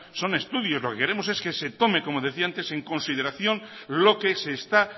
son estudios lo que queremos es que se tome como decía antes en consideración lo que se está